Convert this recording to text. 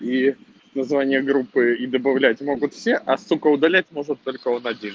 и название группы и добавлять могут все а сука удалить может только он один